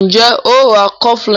Njé o ń rá cofflin?